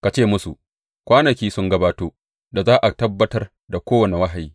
Ka ce musu, Kwanaki sun gabato da za a tabbatar da kowane wahayi.